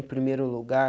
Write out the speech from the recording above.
Em primeiro lugar.